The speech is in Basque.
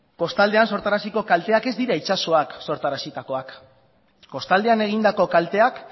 kostaldean sortaraziko kalteak ez dira itsasoak sortarazitakoak kostaldean egindako kalteak